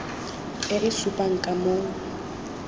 e e supang ka moo